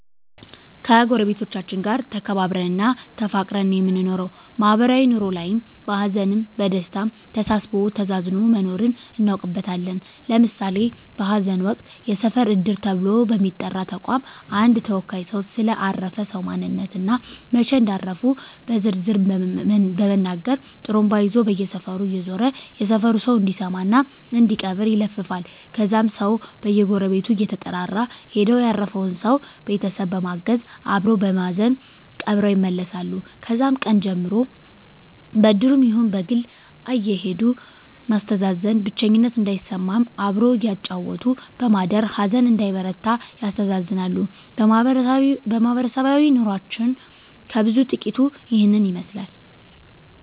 ከጎረቤቶቻችን ጋር ተከባብረን እና ተፋቅረን ነው የምንኖረው ማህበራዊ ኑሮ ላይም በሀዘንም በደስታም ተሳስቦ ተዛዝኖ መኖርን እናውቅበታለን ለምሳሌ በሀዘን ወቅት የሰፈር እድር ተብሎ በሚጠራ ተቋም አንድ ተወካይ ሰው ስለ አረፈ ሰው ማንነት እና መች እንዳረፉ በዝርዝር በመናገር ጡሩምባ ይዞ በየሰፈሩ እየዞረ የሰፈሩ ሰው እንዲሰማ እና እንዲቀብር ይለፍፋል ከዛም ሰው በየጎረቤቱ እየተጠራራ ሄደው ያረፈውን ሰው ቤተሰብ በማገዝ አበሮ በማዘን ቀብረው ይመለሳሉ ከዛም ቀን ጀምሮ በእድሩም ይሁን በግል አየሄዱ ማስተዛዘን ብቸኝነት እንዳይሰማም አብሮ እያጫወቱ በማደር ሀዘን እንዳይበረታ ያስተዛዝናሉ ማህበረሰባዊ ኑሮችን ከብዙ በጥቂቱ ይህን ይመስላል